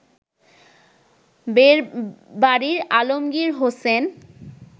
বেড়বাড়ির Alamgir Hossain